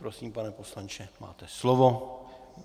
Prosím, pane poslanče, máte slovo.